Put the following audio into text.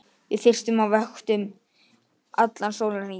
Við frystum á vöktum allan sólarhringinn